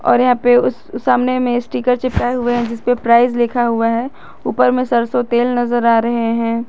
और यहां पे उस सामने में स्टीकर चिपकाए हुए हैं जिस पर प्राइस लिखा हुआ है ऊपर में सरसो तेल नजर आ रहे हैं।